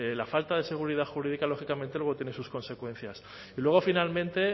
la falta de seguridad jurídica lógicamente luego tiene sus consecuencias y luego finalmente